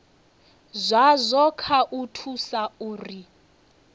zwazwo kha u thusa uri